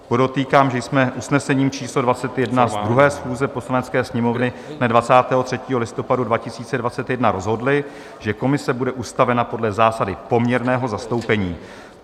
Podotýkám, že jsme usnesením číslo 21 z 2. schůze Poslanecké sněmovny dne 23. listopadu 2021 rozhodli, že komise bude ustavena podle zásady poměrného zastoupení.